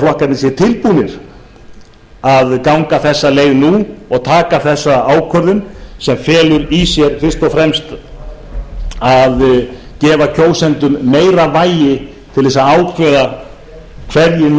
flokkarnir séu tilbúnir að ganga þessa leið nú og taka þessa ákvörðun sem felur fyrst og fremst í sér að gefa kjósendum meira vægi til að ákveða